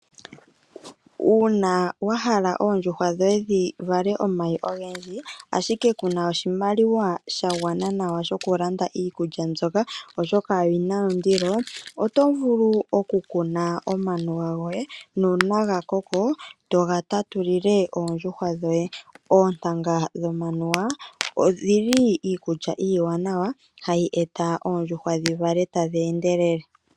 Uuna wahala oondjuhwa dhoye dhivale omayi ongendji ashike Kuna oshimaliwa shangwana nawa shokulanda iikulya mbyoka oshoka oyina ondilo, otovulu okukuna omanuwa ngoye nuna ngakoko tongatatulile oondjuhwa dhoye, otanga dhomanuwa odhili iikulya iwanawa hayi eta oondjuhwa dhivale tadhendelele.